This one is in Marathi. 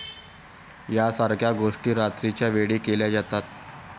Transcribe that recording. यासारख्या गोष्टी रात्रीच्यावेळी केल्या जातात.